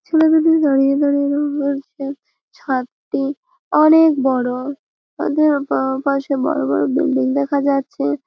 ছেলে দুটি দাঁড়িয়ে দাঁড়িয়ে রঙ করছে। ছাদটি অনে-এক বড়। তাদের পা পাশে বড় বড় বিল্ডিং দেখা যাচ্ছে।